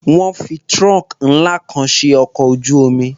Wọ́n fi trunk ńlá kan ṣe ọkọ̀ ojú-omi.